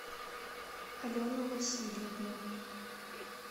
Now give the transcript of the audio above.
алену васильевну